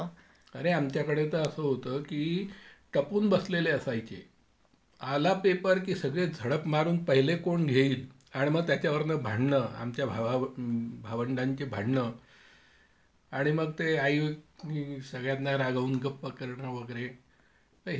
अरे आमच्याकडे तर असं होतं की टपून बसलेले असायचे. आला पेपर की सगळे झडप मारून पहिले कोण घेईल आणि मग त्याच्या वरनं भांडणं आमच्या भावा, भावंडांची भांडणं आणि मग ते आई नी सगळ्यांना रागावून गप्प करणं वगैरे. तर हे सगळं चालायचं.